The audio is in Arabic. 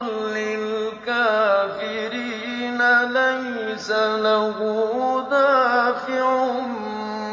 لِّلْكَافِرِينَ لَيْسَ لَهُ دَافِعٌ